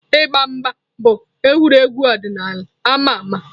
Ịgba mgba bụ egwuregwu ọdịnala ama ama